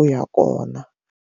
u ya kona.